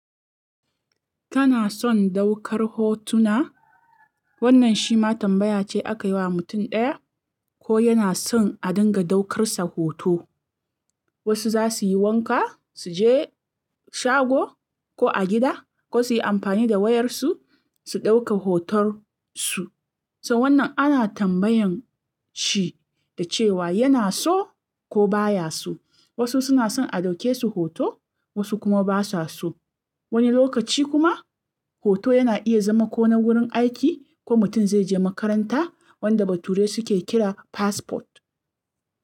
Kana son daukar hotuna? Wannan shi ma tambaya ce aka yi wa mutum ɗaya ko yana son a dinga daukar sa hoto. Wasu za su yi wanka, su je shago ko a gida ko su yi amfani da wayarsu, su ɗauka hoton su. So wannan ana tambayan shi da cewa yana so ko baya so. Wasu suna son a ɗauke su hoto, wasu kuma basa so. Wani lokaci kuma hoto yana iya zama ko na wurin aiki ko mutum zai je makaranta wanda bature suke kira passport.